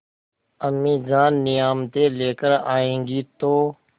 अम्मीजान नियामतें लेकर आएँगी तो